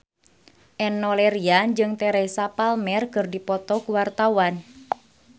Enno Lerian jeung Teresa Palmer keur dipoto ku wartawan